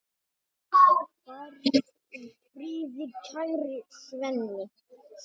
Far í friði, kæri Svenni.